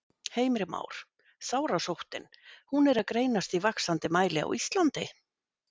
Heimir Már: Sárasóttin, hún er að greinast í vaxandi mæli á Íslandi?